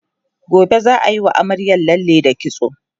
gobe zaa Yi wa amaryar lalle da kitso